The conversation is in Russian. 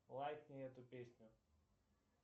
лайкни эту песню